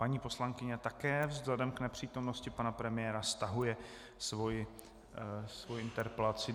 Paní poslankyně také vzhledem k nepřítomnosti pana premiéra stahuje svoji interpelaci.